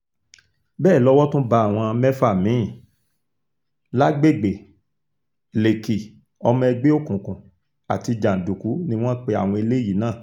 bẹ́ẹ̀ lowó tún bá àwọn mẹ́fà mí-ín lágbègbè lèkì ọmọ ẹgbẹ́ òkùnkùn àti jàǹdùkú ni wọ́n pe àwọn eléyìí náà